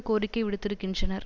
கோரிக்கை விடுத்திருக்கின்றனர்